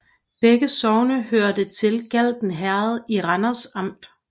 Begge sogne hørte til Galten Herred i Randers Amt